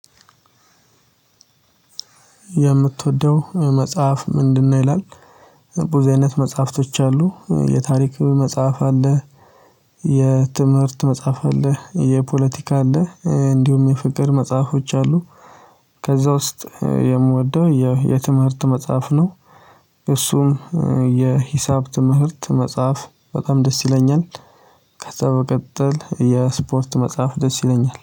የምትወደው መጽሐፍ ምንድነው? ይላል ብዙ አይነት መጽሐፍቶች አሉ የታሪክ መጽሐፍ አለ። የትምህርት መጽሐፍ አለ የፖለቲካ አለ እንዲሁም የፍቅር መጽሐፎች አሉ። ከዛ ውስጥ የምወደው የትምህርት መጽሐፍ ነው። እሱም የሂሳብ ትምህርት መጽሐፍ በጣም ደስ ይለኛል። በቀጥል የስፖርት መጽሐፍ ደስ ይለኛል